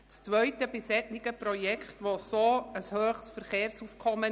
Zum zweiten Grund: Es besteht an diesem Ort ein sehr hohes Verkehrsaufkommen.